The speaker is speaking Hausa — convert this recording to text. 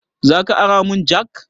Zaka ara mun jak?